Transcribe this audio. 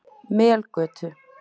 Melgötu